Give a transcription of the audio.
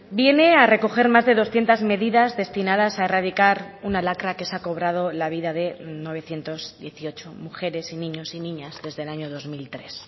viene a recoger más de doscientos medidas destinadas a erradicar una lacra que se ha cobrado la vida de novecientos dieciocho mujeres y niños y niñas desde el año dos mil tres